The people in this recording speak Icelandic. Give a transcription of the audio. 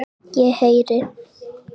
Ég heyri.